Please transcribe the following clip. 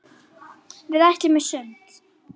Við ætluðum í sund.